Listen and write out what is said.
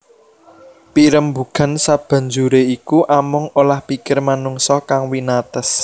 Pirembugan sabanjuré iku amung olah pikir manungsa kang winates